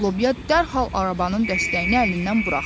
Lobya dərhal arabanın dəstəyini əlindən buraxdı.